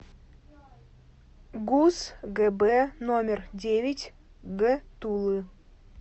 гуз гб номер девять г тулы